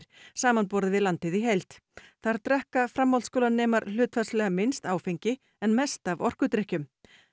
samanborið við landið í heild þar drekka framhaldsskólanemar hlutfallslega minnst áfengi en mest af orkudrykkjum